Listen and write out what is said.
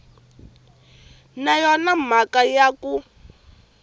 na yona mhaka ya ku